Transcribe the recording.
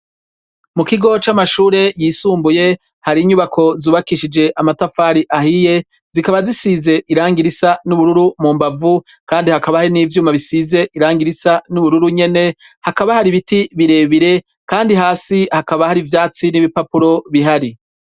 Mu kigo c'amashure yisumbuye hari inyubako zubakishije amatafari ahiye zikaba zisize irangi risa n'ubururu mu mbavu kandi hakaba ahe n'ivyuma bisize irangi irisa n'ubururu nyene hakaba hari ibiti birebire kandi hasi hakaba hari ivyatsi n'ibipapuro bihari.